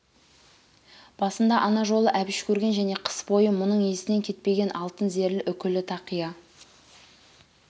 басында ана жолы әбіш көрген және қыс бойы мүның есінен кетпеген алтын зерлі үкілі тақия